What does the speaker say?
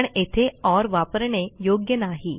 पण येथे ओर वापरणे योग्य नाही